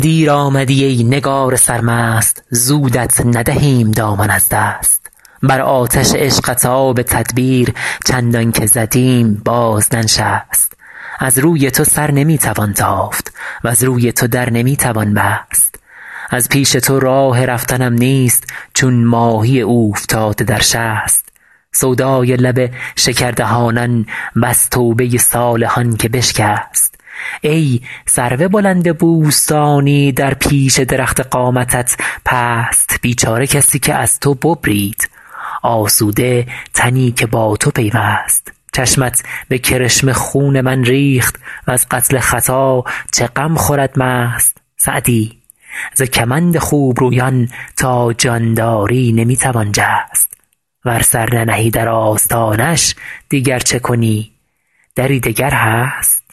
دیر آمدی ای نگار سرمست زودت ندهیم دامن از دست بر آتش عشقت آب تدبیر چندان که زدیم باز ننشست از رای تو سر نمی توان تافت وز روی تو در نمی توان بست از پیش تو راه رفتنم نیست چون ماهی اوفتاده در شست سودای لب شکردهانان بس توبه صالحان که بشکست ای سرو بلند بوستانی در پیش درخت قامتت پست بیچاره کسی که از تو ببرید آسوده تنی که با تو پیوست چشمت به کرشمه خون من ریخت وز قتل خطا چه غم خورد مست سعدی ز کمند خوبرویان تا جان داری نمی توان جست ور سر ننهی در آستانش دیگر چه کنی دری دگر هست